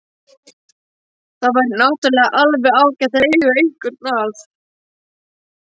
Það væri náttúrulega alveg ágætt að eiga einhvern að.